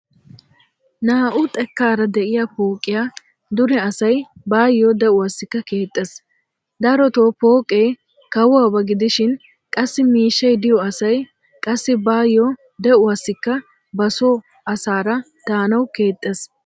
Naa"u xekkaara de"iyaa pooqiya dure asay bayo de"uwaassikka keexxees. Darotoo pooqee kawoba gidishin qassi miishshay diyo asay qassi bayo de"uwaassikka ba so asaara daanawu keexxees.